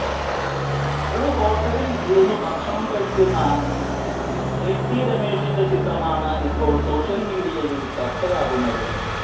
ഒരു ഹോട്ടലിൽ ഇരുന്ന് ഭക്ഷണം കഴിക്കുന്ന എടി രമേശിന്റെ ചിത്രമാണ് ഇപ്പോൾ സോഷ്യൽ മീഡിയയിൽ ചർച്ചയാകുന്നത്